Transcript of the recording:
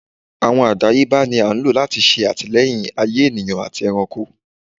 Awọn àdáyébá ní a n lo lati ṣe atilẹyin ayè ènìyàn àtí ẹranko